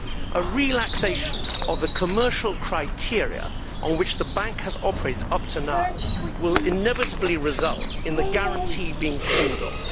A relaxation of the commercial criteria on which the Bank has operated up to now will inevitably result in the guarantee being called on.